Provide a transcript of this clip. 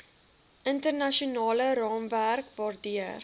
internasionale raamwerke waardeur